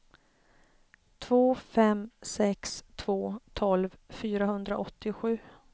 två fem sex två tolv fyrahundraåttiosju